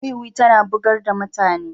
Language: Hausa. Wuwi tana bugar da mutane.